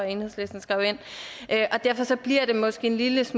enhedslisten skrev ind derfor bliver det måske en lidt